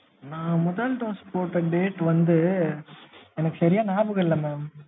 நான் முதல் dose போட்ட date வந்து, எனக்கு சரியா நியாபகம் இல்லைங் mam